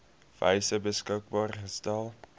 wyse beskikbaar gestel